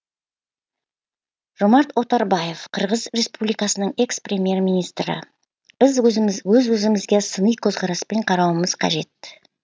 жомарт оторбаев қырғыз республикасының экс премьер министрі біз өз өзімізге сыни көзқараспен қарауымыз қажет